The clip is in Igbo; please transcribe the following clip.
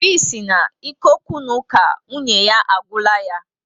Óbị si na ike okwu na uka nwunye ya agwula yá